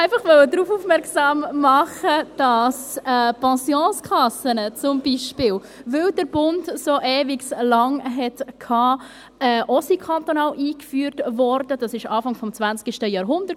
Ich wollte einfach darauf aufmerksam machen, dass zum Beispiel die Pensionskassen auch kantonal eingeführt wurden, da der Bund so ewig lange brauchte;